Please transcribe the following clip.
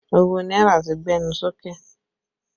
Owó náírà ti gbẹnu sókè